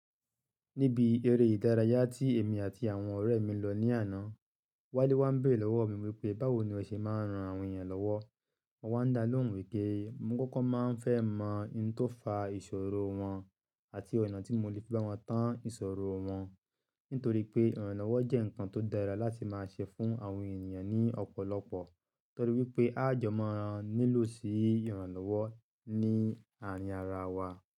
Níbi eré ìdárayá tí èmi àti àwọn ọ̀rẹ́ mi lọ ní àná, Wálé wá ń béèrè lọ́wọ́ mi wípé báwo ni ó ṣe máa ń ran àwọn ènìyàn lọ́wọ́. Mo wá dá lóhùn wípé mo kókó máa ń fẹ́ mọ ohun tó fa ìṣòro wọn àti ọ̀nà tí mo le fi bá wọn tán ìṣòro wọn. Nítorí pé ìrànlọ́wọ́ jẹ́ ǹkan tó dára láti máa ṣe fún àwọn ènìyàn ní ọ̀pọ̀lọpọ̀. Torí wípé a jẹ́ máa nílò sí ìrànlọ́wọ́ ní àárín ara wa.